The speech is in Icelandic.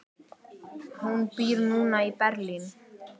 Hún býr núna í Berlín.